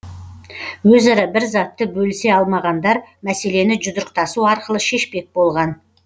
өзара бір затты бөлісе алмағандар мәселені жұдырықтасу арқылы шешпек болған